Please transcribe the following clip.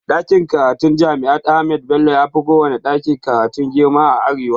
Ɗakin karatun jami'ar ahmadu bello yafi kowanne ɗakin karatu girma a arewa